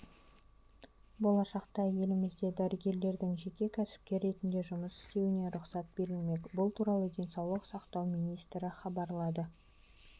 болашақта елімізде дәрігерлердің жеке кәсіпкер ретінде жұмыс істеуіне рұқсат берілмек бұл туралы денсаулық сақтау министрі хабарлады